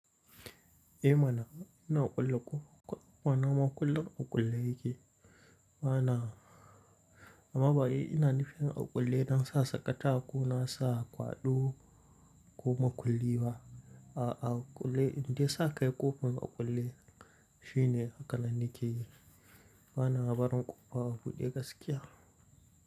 Eh mana ina ƙulla ko mana maƙulla ƙullaye ke. Mana a mabayi ina nufin a kulle nan sa sakata ko nasa kwaɗo ko maƙulli ba. A a kulle inda sakai ƙofan a kulle shine haka na nike. Mana abarun ƙofa a buɗe gaskiya.